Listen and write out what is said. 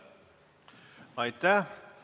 Aitäh!